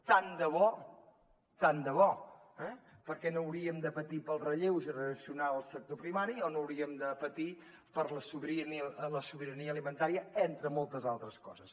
tant de bo tant de bo eh perquè no hauríem de patir pel relleu generacional al sector primari o no hauríem de patir per la sobirania alimentària entre moltes altres coses